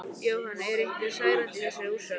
Jóhann: Eru einhver særindi í þessari úrsögn?